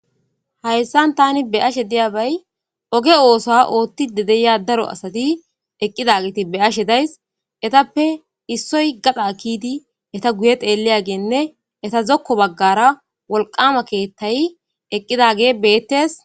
Haysan tani be'ashe diyabay oge oso othidi de'iya daro asati eqidageti be'ashe days etappe issoy gadha kidi eta guye xeliyagenne eta zokko bagara wolqama kethay eqidage betes.